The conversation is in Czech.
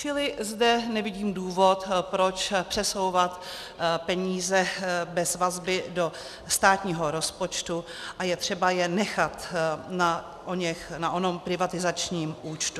Čili zde nevidím důvod, proč přesouvat peníze bez vazby do státního rozpočtu, a je třeba je nechat na onom privatizačním účtu.